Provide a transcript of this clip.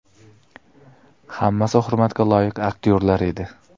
Hammasi hurmatga loyiq aktyorlar edi.